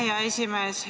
Aitäh, hea esimees!